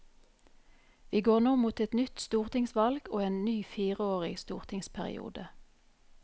Vi går nå mot et nytt stortingsvalg og en ny fireårig stortingsperiode.